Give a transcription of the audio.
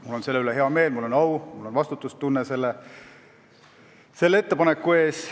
Mul on selle üle hea meel, mul on au, mul on vastutustunne selle ettepaneku ees.